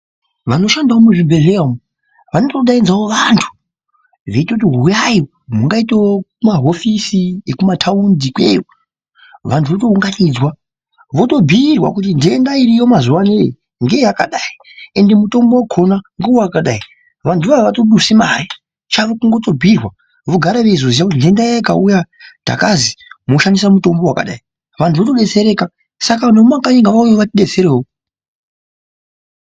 Vanoshandawo muzvibhedhlera umu vanotodaidzawo vantu veitoti huyai mungaitawo mahofisi ekumataundi ikweyo vantu votounganidzwa votobhiirwa kuti ndenda iriyo mazuva anawa ndeyakadai ende mutombo wakona ndewakadai vantu iwawo avatodusi mare Chavo kutongobhiirwa vogara veiziya kundenda yawo ikauya takazi moshandisa mutombo wakadai vantu votodetsereka saka vantu vemakanyi ngavauye vatidetserewo.